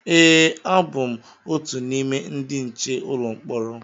e, abụ m otu n’ime ndị nche ụlọ mkpọrọ